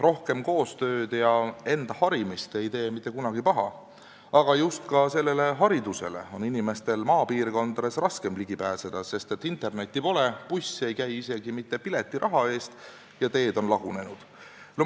Rohkem koostööd ja enda harimist ei tee mitte kunagi paha, aga ka sellele haridusele on inimestel maapiirkondades raskem ligi pääseda, sest internetti pole, buss ei käi isegi mitte piletiraha eest ja teed on lagunenud.